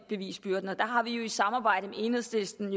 bevisbyrden og der har vi jo i samarbejde med enhedslisten